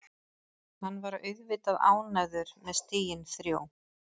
Hann var auðvitað ánægður með stigin þrjú.